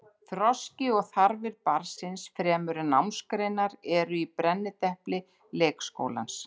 Þroski og þarfir barnsins fremur en námsgreinar eru í brennidepli leikskólans.